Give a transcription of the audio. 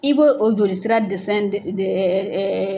I b'o joli sira dɛsɛn ɛ ɛ.